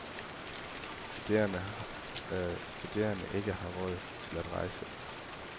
Studerende ikke har råd til at rejse.